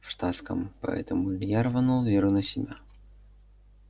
в штатском поэтому илья рванул веру на себя